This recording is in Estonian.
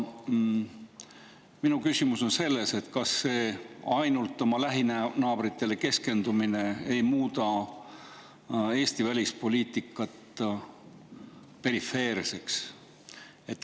Minu küsimus on see, et kas ainult oma lähinaabritele keskendumine ei muuda Eesti välispoliitikat perifeerseks.